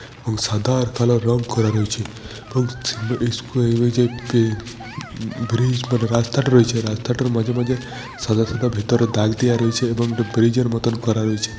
এবং সাদা আর কালো রং করা রয়েছে। এবং সিম্ব ই স্কোয়া উঃ যে বে মম ব্রিজ মানে যে রাস্তাটা রয়েছে রাস্তাটার মাঝে মাঝে সাদা সাদা ভেতরে দাগ দেওয়া রয়েছে এবং ওটা ব্রিজে -র মতো করা রয়েছে।